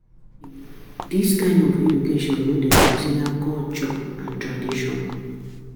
This kind of education no dey consider culture and tradition